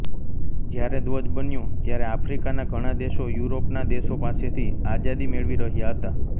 જ્યારે ધ્વજ બન્યો ત્યારે આફ્રિકાના ઘણા દેશો યુરોપના દેશો પાસેથી આઝાદી મેળવી રહ્યા હતા